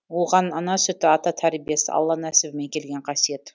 оған ана сүті ата тәрбиесі алла нәсібімен келген қасиет